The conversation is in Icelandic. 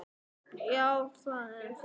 Hemmi jánkar því.